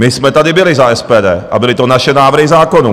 My jsme tady byli za SPD a byly to naše návrhy zákonů.